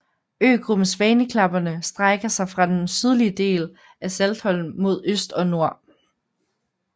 Øgruppen Svaneklapperne strækker sig fra den sydlige del af Saltholm mod øst og nord